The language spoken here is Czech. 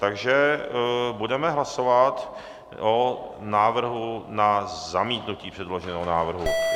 Takže budeme hlasovat o návrhu na zamítnutí předloženého návrhu.